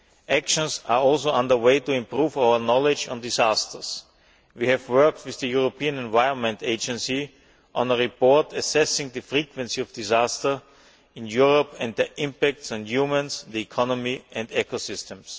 Actions are also under way to improve our knowledge of disasters. We have worked with the European Environment Agency on a report assessing the frequency of disasters in Europe and their impact on humans, the economies and ecosystems.